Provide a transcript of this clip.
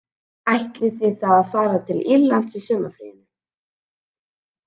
Ætlið þið þá að fara til Írlands í sumarfríinu